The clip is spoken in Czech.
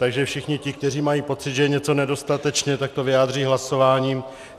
Takže všichni ti, kteří mají pocit, že je něco nedostatečně, tak to vyjádří hlasováním.